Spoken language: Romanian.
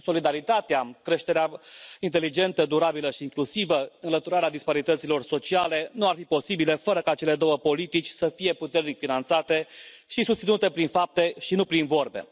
Solidaritatea, creșterea inteligentă, durabilă și inclusivă, înlăturarea disparităților sociale nu ar fi posibile fără ca cele două politici să fie puternic finanțate și susținute prin fapte și nu prin vorbe.